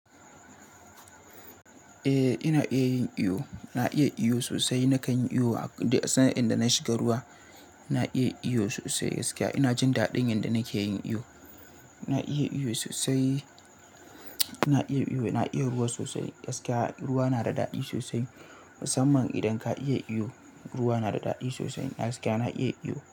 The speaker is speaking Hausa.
Eh, ina iya yin iyo. Na iya iyo sosai. Nakan yi iyo idan na shiga ruwa, na iya iyo sosai gaskiya. Ina jin daɗin yadda nake yin iyo. Na iya iyo sosai. Na iya iyo, na iya ruwa sosai gaskiya. Ruwa na da daɗi sosai, musamman idan ka iya iyo. Ruwa na da daɗi sosai gaskiya. Na iya iyo.